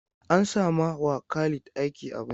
An sama wa Khalid aiki a banki.